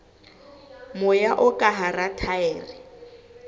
moya o ka hara thaere